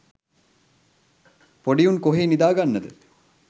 පොඩි උන් කොහේ නිදාගන්නද